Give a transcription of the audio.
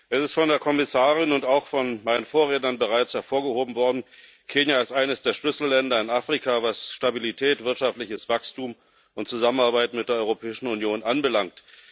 Es ist von der Kommissarin und auch von meinen Vorrednern bereits hervorgehoben worden Kenia ist eines der Schlüsselländer in Afrika, was Stabilität, wirtschaftliches Wachstum und Zusammenarbeit mit der Europäischen Union anbelangt.